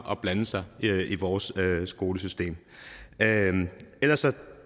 at blande sig i vores skolesystem ellers